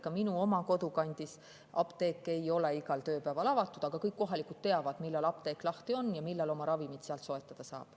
Ka minu kodukandis ei ole apteek igal tööpäeval avatud, aga kõik kohalikud teavad, millal apteek lahti on ja millal sealt ravimeid soetada saab.